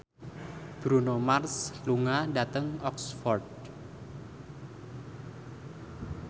Bruno Mars lunga dhateng Oxford